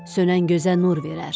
Sönən gözə nur verər.